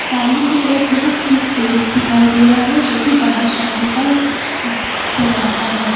सामने की तरफ हमें एक गेट दिखाई दे रहा है जो की बाहर जाने का दरवाजा है।